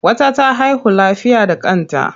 Wata ta haihu lafiya da kanta.